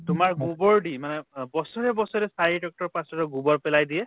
তোমাৰ গোবৰ দি মানে বছৰে বছৰে চাৰি পাঁছ গোবৰ পেলাই দিয়ে